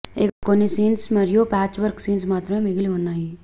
ఇక కొన్ని సీన్స్ మరియు ప్యాచ్ వర్క్ సీన్స్ మాత్రమే మిగిలి ఉన్నాయి